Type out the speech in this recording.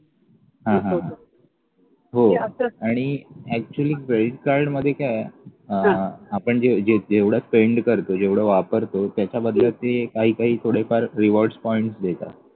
हा हा हा हो आणि actually credit card मध्ये काय आहे अह आपण जेवढं spend करतो जेवढं वापरतो त्याच्यामध्ये ते काही काही थोडे फार rewards point देता